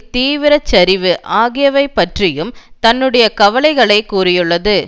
தீவிர சரிவு ஆகியவை பற்றியும் தன்னுடைய கவலைகளை கூறியுள்ளது